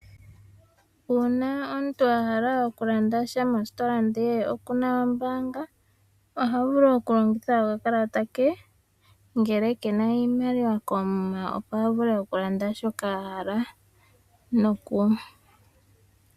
Uuna omuntu a hala okulanda sha mositola ndele okuna ombaanga oha vulu okulongitha okakalata ke ngele kena iimaliwa koomuma opo a vule okulanda shoka a hala.